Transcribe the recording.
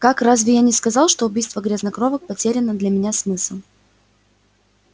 как разве я не сказал что убийство грязнокровок потеряно для меня смысл